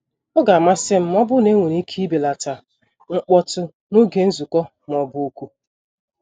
Ọ ga-amasị m ma ọ bụrụ na enwere ike ibelata mkpọtụ n'oge nzukọ ma ọ bụ oku.